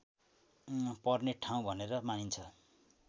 पर्ने ठाउँ भनेर मानिन्छ